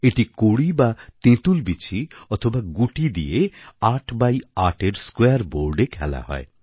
এটি কড়ি বা তেঁতুল বিচি অথবা গুটি দিয়ে ৮ বাই ৮এর স্কোয়্যার বোর্ডএ খেলা হয়